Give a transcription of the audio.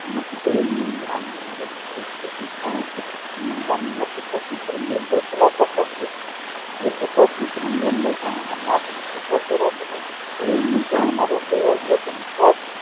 લંબાઈ પર આધાર રાખે છે એ જ પોતા વિતરણ લંબાઇ પાનાના માપને અવલોકન